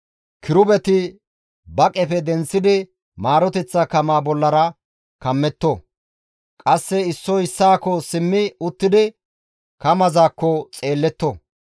Kirubeti ba qefe denththidi maaroteththa kamaa bollara kammetto; qasse issoy issaakko simmi uttidi kamazakko xeelletto.